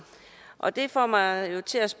og det får mig til at